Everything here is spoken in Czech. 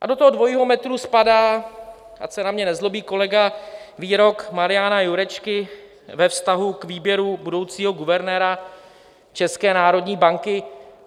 A do toho dvojího metru spadá, ať se na mě nezlobí kolega, výrok Mariana Jurečky ve vztahu k výběru budoucího guvernéra České národní banky.